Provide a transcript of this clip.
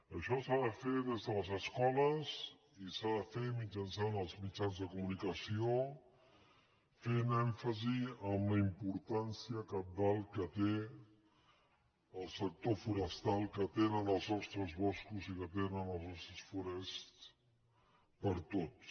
això s’ha de fer des de les escoles i s’ha de fer mitjançant els mitjans de comunicació fent èm·fasi en la importància cabdal que té el sector forestal que tenen els nostres boscos i que tenen les nostres fo·rests per a tots